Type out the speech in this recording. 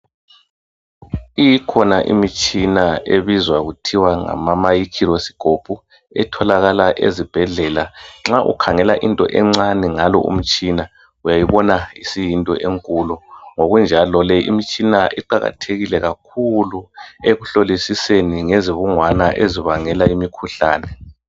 Ikhona imitshina ebizwa kuthiwa ngama microscope etholakala ezibhedlela. Nxa ukhangela into encane ngalo umtshina, uyayibona isiyinto enkulu. Ngokunjalo le mitshina iqakathekile kakhulu ekuhlolisiseni ngezibungwana ezibangela imikhuhlane.